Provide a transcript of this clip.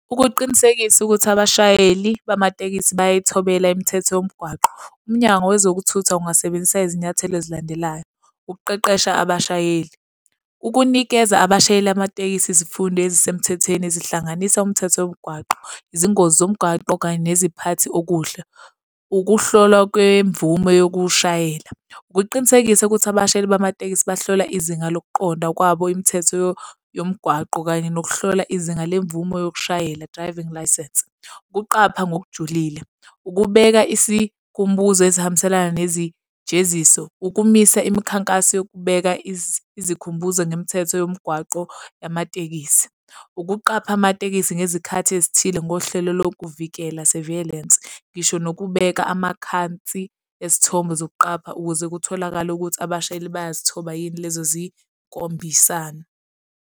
Ukuqinisekisa ukuthi abashayeli bamatekisi bayayithobela imithetho yomgwaqo, uMnyango Wezokuthutha ungasebenzisa izinyathelo ezilandelayo, ukuqeqesha abashayeli. Ukunikeza abashayeli amatekisi izifundo ezisemthethweni zihlanganise umthetho womgwaqo, izingozi zomgwaqo kanye neziphathi okuhle. Ukuhlolwa kwemvume yokushayela. ukuqinisekisa ukuthi abashayeli bamatekisi bahlola izinga lokuqonda kwabo imithetho yomgwaqo kanye nokuhlola izinga lemvume yokushayela, driving licence. Ukuqapha ngokujulile ukubeka isikhumbuzo ezihambiselana nezijeziso ukumisa imikhankaso yokubeka izikhumbuzo ngemithetho yomgwaqo yamatekisi. Ukuqapha amatekisi ngezikhathi ezithile ngohlelo lokuvikela, surveillance, ngisho nokubeka amakhansi ezithongo zokuqapha ukuze kutholakale ukuthi abashayeli bayazithoba yini lezo zinkombisano.